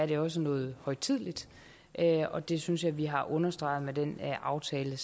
det også noget højtideligt og det synes jeg vi har understreget med den aftale